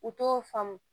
U t'o faamu